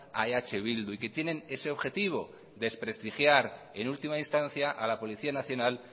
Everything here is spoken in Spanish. a eh bildu y que tienen ese objetivo desprestigiar en última instancia a la policía nacional